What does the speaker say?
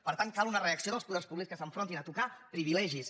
per tant cal una reacció dels poders públics que s’enfrontin a tocar privilegis